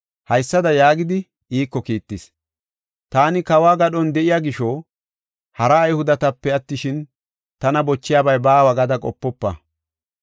haysada yaagidi iiko kiittis; “Taani kawo gadhon de7iya gisho, hara Ayhudetape attishin, tana bochiyabay baawa gada qopofa!